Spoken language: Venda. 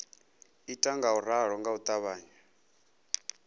ita ngauralo nga u ṱavhanya